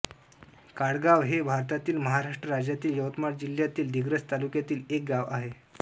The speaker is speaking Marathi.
काळगाव हे भारतातील महाराष्ट्र राज्यातील यवतमाळ जिल्ह्यातील दिग्रस तालुक्यातील एक गाव आहे